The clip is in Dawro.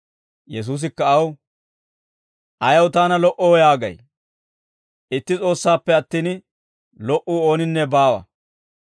Yesuusikka aw, «Ayaw taana lo"oo, yaagay? Itti S'oossaappe attin, lo"uu ooninne baawa;